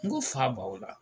N ko fa b'aw la